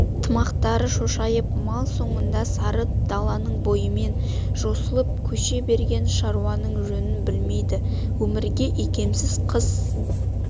тымақтары шошайып мал соңында сары даланың бойымен жосылып көше берген шаруаның жөнін білмейді өмірге икемсіз қыс